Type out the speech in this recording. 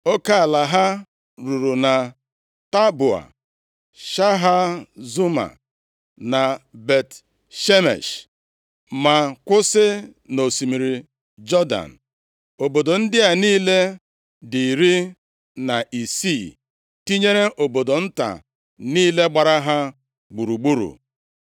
Oke ala ha ruru na Taboa, Shahazuma na Bet-Shemesh, ma kwụsị nʼosimiri Jọdan. Obodo ndị a niile dị iri na isii, tinyere obodo nta niile gbara ha gburugburu.